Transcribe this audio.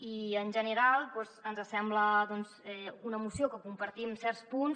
i en general doncs ens sembla una moció que en compartim certs punts